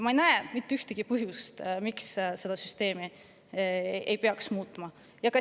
Ma ei näe mitte ühtegi põhjust, miks seda süsteemi ei peaks muutma.